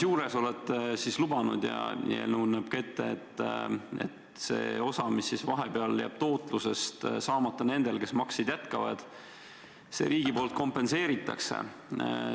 On lubatud ja eelnõu näeb ka ette, et see tootluse osa, mis vahepeal jääb saamata nendel, kes makseid jätkavaid, riigi poolt kompenseeritakse.